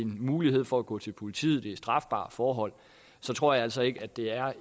mulighed for at gå til politiet ved strafbare forhold og så tror jeg altså ikke at det er